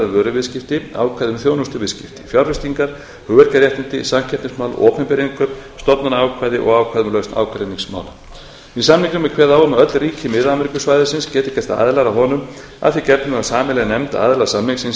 vöruviðskipti ákvæði um þjónustuviðskipti fjárfestingar hugverkaréttindi samkeppnismál opinber innkaup stofnanaákvæði og ákvæði um lausn ágreiningsmála með samningnum er kveðið á um að öll ríki mið ameríkusvæðisins geti gerst aðilar að honum að því gefnu að sameiginleg nefnd aðila samningsins